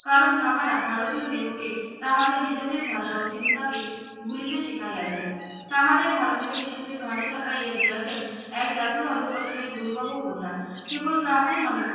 কারন তাহারা ভারতীয় দিগোকে তাহাদের নিজেদের ভাষা ও চিন্তা কে ভুলিতে শিখিয়াছেন তাহারাই ভারতীয় শিশুদের ঘাড়ে চাপাইয়া দিয়াছেন এক জাতীয় অধঃপতনের দুর্বহ বোঝা কেবল তাহাই নহে